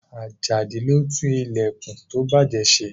Ajadi ló tún ìlẹ̀kùn tó bàjẹ́ se.